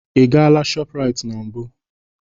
Ị gaala shọpụraiti na mbụ?